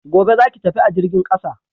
Gobe, za ki tafi a jirgin ƙasa!